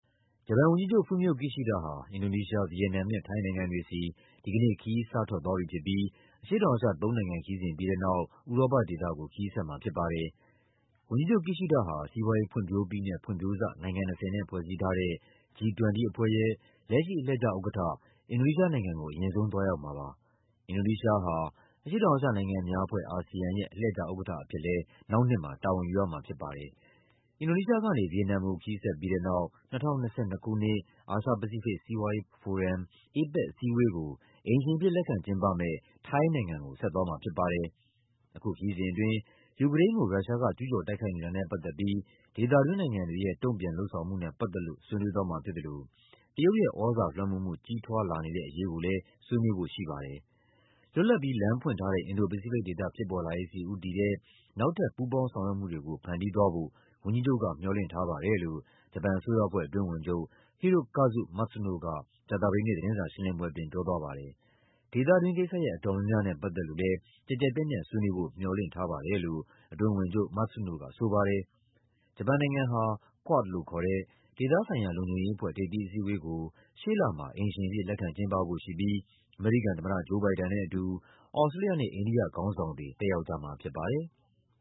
ဂျပန်ဝန်ကြီးချုပ် Fumio Kishida ဟာ အင်ဒိုနီးရှား၊ ဗီယက်နမ်နဲ့ ထိုင်းနိုင်ငံတွေဆီ ဒီကနေ့ ခရီးစထွက်သွားပြီဖြစ်ပြီး အရှေ့တောင် အာရှ သုံးနိုင်ငံခရီးစဉ်ပြီးတဲ့နောက် ဥရောပဒေသကို ခရီးဆက်မှာဖြစ်ပါတယ်။ ဝန်ကြီးချုပ် Kishida ဟာ စက်မှုထိပ်သီးနိုင်ငံ ၂၀ G-20 အဖွဲ့ရဲ့ လက်ရှိအလှည့်ကျဥက္ကဋ္ဌ အင်ဒိုနီးရှားနိုင်ငံကို အရင်ဆုံးသွားရောက်မှာ ဖြစ်ပါတယ်။ အင်ဒိုနီးရှားဟာ အရှေ့တောင်အာရှနိုင်ငံများအဖွဲ့ (ASEAN) ရဲ့ အလှည့်ကျဥက္ကဋ္ဌအဖြစ်လည်း နောက်နှစ်မှာ တာဝန် ယူရမှာဖြစ်ပါတယ်။ အင်ဒိုနီးရှားကနေ ဗီယက်နမ်ကို ခရီးဆက်ပြီးတဲ့နောက် ၂၀၂၂ ခုနှစ်၊ အာရှ-ပစိဖိတ် စီးပွားရေးဖိုရမ် (APEC) အစည်းအဝေးကို အိမ်ရှင် အဖြစ် လက်ခံကျင်းပမယ့် ထိုင်းနိုင်ငံကို ဆက်သွားမှာဖြစ်ပါတယ်။ အခုခရီးစဉ်အတွင်း ယူကရိန်းကို ရုရှားက ကျူးကျော်တိုက်ခိုက်နေတာနဲ့ပတ်သက်ပြီး ဒေသတွင်းနိုင်ငံတွေရဲ့ တုန့်ပြန်လုပ်ဆောင်မှုနဲ့ ပတ်သက်လို့ ဆွေးနွေးသွားမှာဖြစ်သလို တရုတ်ရဲ့ သြဇာလွှမ်းမိုးမှု ကြီးထွားလာနေတဲ့အရေးကိုလည်း ဆွေးနွေးဖို့ရှိပါတယ်။ “လွတ်လပ်ပြီး လမ်းဖွင့်ထားတဲ့ အင်ဒို-ပစိဖိတ်ဒေသ ဖြစ်ပေါ်လာရေးဆီဦးတည်တဲ့ နောက်ထပ် ပူးပေါင်းဆောင်ရွက်မှုတွေကို ဖန်တီး သွားဖို့ ဝန်ကြီးချုပ်က မျှော်လင့်ထားပါတယ်” လို့ ဂျပန်အစိုးရအဖွဲ့ အတွင်းဝန်ချုပ် Hirokazu Matsuno က ကြာသပတေးနေ့ သတင်းစာရှင်းလင်းပွဲအတွင်း ပြောသွားပါတယ်။ “ဒေသတွင်းကိစ္စရပ် အတော်များများနဲ့ ပတ်သက်လို့လည်း ကျယ်ကျယ်ပြန့်ပြန့် ဆွေးနွေးဖို့ မျှော်လင့်ထားပါတယ်” လို့ အတွင်းဝန်ချုပ် Matsuno ကဆိုပါတယ်။ ဂျပန်နိုင်ငံဟာ Quad လို့ခေါ်တဲ့ ဒေသဆိုင်ရာ လုံခြုံရေးအဖွဲ့ ထိပ်သီးအစည်းအဝေးကို ရှေ့လမှာ အိမ်ရှင်အဖြစ် လက်ခံကျင်းပဖို့ရှိပြီး အမေရိကန်သမ္မတ Joe Biden နဲ့အတူ သြစတြေးလျနဲ့ အိန္ဒိယခေါင်းဆောင်တွေ တက်ရောက်ကြမှာဖြစ်ပါတယ်။